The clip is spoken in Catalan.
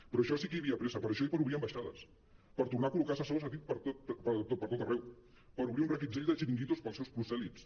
per això sí que hi havia pressa per això i per obrir ambaixades per tornar a col·locar assessors a dit per tot arreu per obrir un reguitzell de xiringuitos per als seus prosèlits